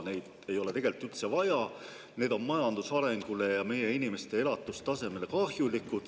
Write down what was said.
Neid ei ole tegelikult üldse vaja, need on majanduse arengule ja meie inimeste elatustasemele kahjulikud.